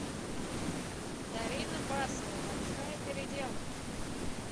дарина басова большая переделка